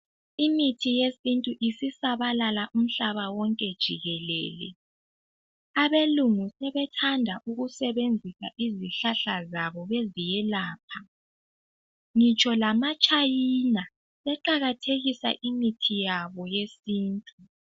Imithi yesintu isisabala umhlaba wonke jikelele. Abelungu sebethanda ukusebenzisa izihlahla zabo beziyelapha, ngitsho lama China seqakathekisa imithi yabo yesintu.